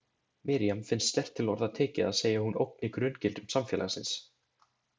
Miriam finnst sterkt til orða tekið að segja að hún ógni grunngildum samfélagsins.